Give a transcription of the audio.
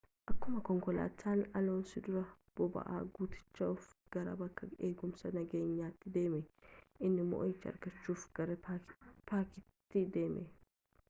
akkumaa konkolaatan aloonsoo duraa boba'aa guutachuuf gara bakka eegumsaa nageenyatti deeme inni moo'icha argaachuf gara paakitii deeme